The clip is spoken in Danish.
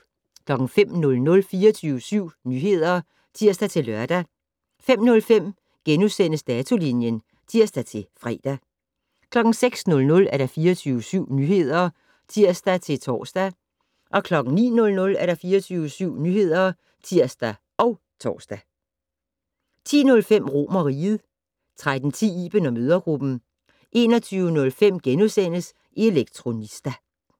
05:00: 24syv Nyheder (tir-lør) 05:05: Datolinjen *(tir-fre) 06:00: 24syv Nyheder (tir-tor) 09:00: 24syv Nyheder (tir og tor) 10:05: RomerRiget 13:10: Iben & mødregruppen 21:05: Elektronista *